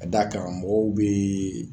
da karamɔgɔw bɛ yen